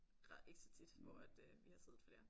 Der er ikke så tit hvor at øh vi har siddet flere